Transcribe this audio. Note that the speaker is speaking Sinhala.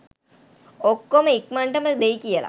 ඔක්කොම ඉක්මනටම දෙයි කියල